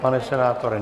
Pane senátore?